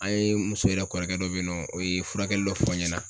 An ye n muso yɛrɛ kɔrɔkɛ dɔ be yen nɔ o ye furakɛli dɔ fɔ n ɲɛna